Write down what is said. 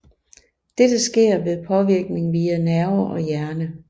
Dette sker ved påvirkning via nerver og hjerne